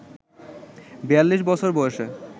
৪২ বছর বয়সে